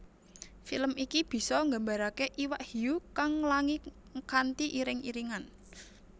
Film iki bisa nggambarake iwak hiu kang nglangi kanthi iring iringan